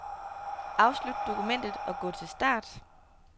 Afslut dokumentet og gå til start.